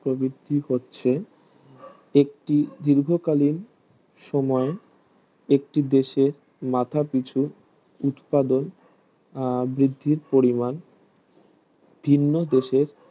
প্রভিতিক হচ্ছে একটি দীর্ঘকালীন সময় একটি দেশে মাথাপিছু উৎপাদন বৃদ্ধির পরিমান ভীর্ণ দেশের